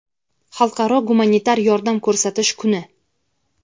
Xalqaro gumanitar yordam ko‘rsatish kuni;.